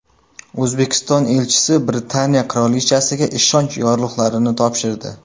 O‘zbekiston elchisi Britaniya qirolichasiga ishonch yorliqlarini topshirdi.